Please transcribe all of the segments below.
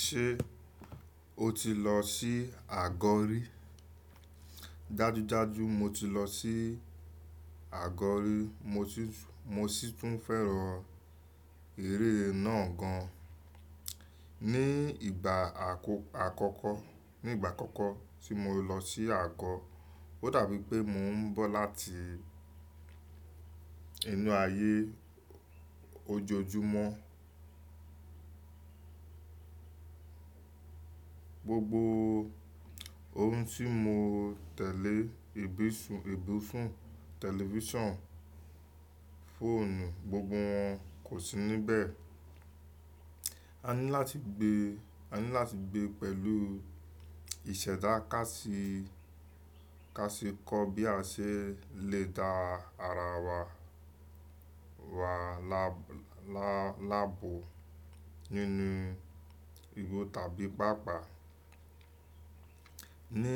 Ṣé o ti lọ sí àgọ́ rí? Dájúdájú, mo ti lọ sí àgọ́ rí. Mo sì tún fẹ́ràn eré náà gan. Ní ìgbà àkọ́kọ́, ní ìgbà àkọ́kọ́ tí mo lọ sí àgọ́, ó dàbí pé mò ń bọ̀ láti inú ayé ojojúmọ́. Gbogbo ohun tí mo tẹ̀lé; ibi ibùsùn, tẹlifíṣàn, fóònù, gbogbo wọn kò sí níbẹ̀. A ní láti gbé, a ní láti gbé pẹ̀lú ìṣẹ̀dá ká sì, ká sì kọ́ bí a ṣe lè da ara wa, wa la, la, lábo nínú igbó tàbí pàápàá. Ní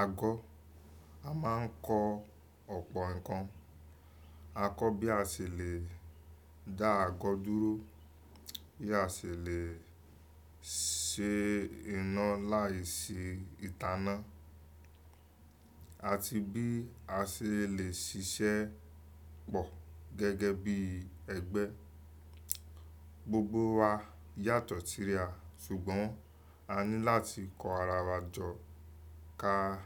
àgọ́, a máa ń kọ́ ọ̀pọ̀ ǹkan. A kọ́ bí a ṣe lè dá àgọ́ dúró, bí a ṣe lè ṣe iná láì sí ìtaná àti bí a ṣe lè ṣiṣẹ́ pọ̀ gẹ́gẹ́ bí ẹgbẹ́. Gbogbo wa yàtọ̀ síra ṣùgbọ́n a ní láti kọ́ ara wa jọ ká,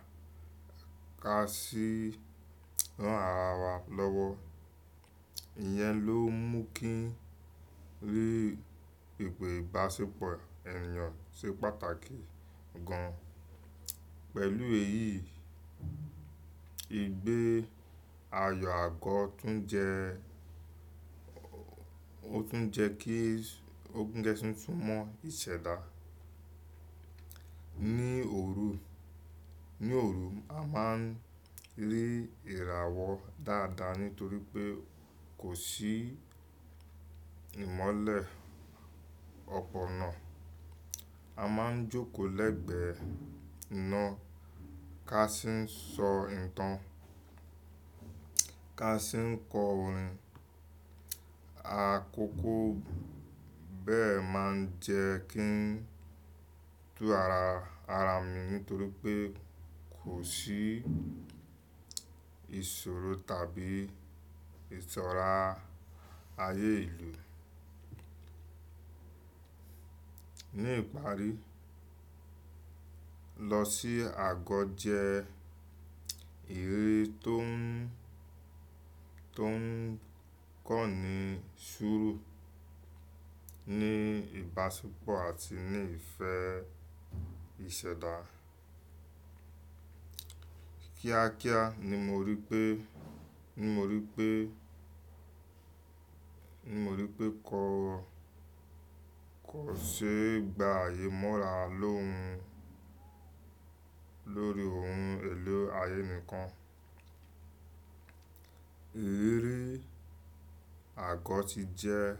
ká sì rán ara wa lọ́wọ́. Ìyẹn ló mú kí eré ìbáṣepọ̀ ènìyàn ṣe pàtàkì gan. Pẹ̀lú èyí, ìgbé ayọ̀ àgọ́ tún jẹ, ó tún jẹ kí, ó tún jẹ́ kí n tún mọ ìṣẹ̀dá. Ní òru, ní òru a máa ń rí ìràwọ̀ dáadáa nítorí pé kò sí ìmọ́lẹ̀ ọ̀pọ̀ náà. A máa ń jókòó lẹ́gbẹ̀ẹ́ iná ká sì ń sọ ìtàn, ká sì ń kọ orin. Àkókò bẹ́ẹ̀ máa ń jẹ́ kí n tú ara, ara mi nítorí pé kò sí ìṣòro tàbí ìtọra ayé ìlú. Ní ìparí, lọ sí àgọ́ jẹ́ eré tó ń, tó ń kọ́ni sùúrù ní ìbáṣepọ̀ àti ní ìfẹ́ ìṣẹ̀dá. Kíákíá ni mo rí pé, ni mo rí pé, ni mo rí pé kọ̀, kò ṣe ìgbà ayé mọ́ra lóhun, lórí ohun èlò ayé nìkan. Ìrírí àgọ́ ti jẹ́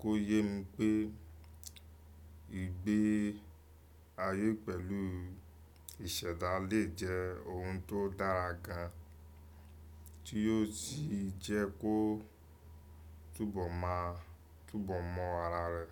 kó yé mi pé ìgbé ayé pẹ̀lú ìṣẹ̀dá lè jẹ́ ohun tó dára gan, tí yóò sì jẹ́ kó túbọ̀ mọ̀, túbọ̀ mọ̀ ara rẹ̀.